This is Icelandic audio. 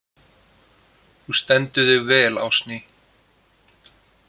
Þú stendur þig vel, Ásný!